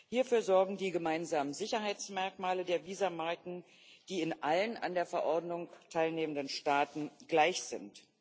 Hierfür sorgen die gemeinsamen Sicherheitsmerkmale der Visummarken, die in allen an der Verordnung teilnehmenden Staaten gleich sind.